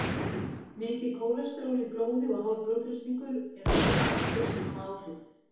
Mikið kólesteról í blóði og hár blóðþrýstingur eru aðrir þættir sem hafa áhrif.